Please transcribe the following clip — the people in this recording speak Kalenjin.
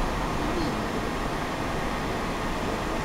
Ka mii yu.